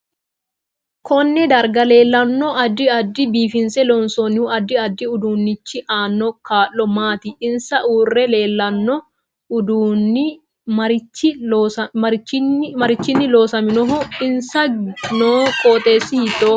Konne darga leelanno addi addi biifnse loonsoonihu addi addi uduunichi aano kaa'lo maati insa udirre leelanno uduuni marichini loosaminoho insa noo qooxeesi hiitoho